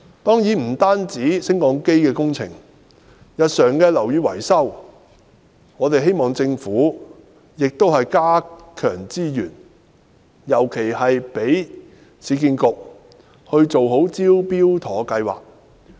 當然，不單是升降機工程，就是日常樓宇維修，我們也希望政府加強資源，尤其是讓市區重建局做好"招標妥"計劃。